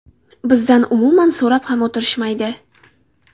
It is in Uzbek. Bizdan umuman so‘rab ham o‘tirishmaydi.